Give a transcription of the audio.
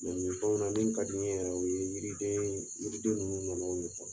min fɛnw na min ka di n ye yɛrɛ o ye yiri yiridenw ninnu nɔnɔ ye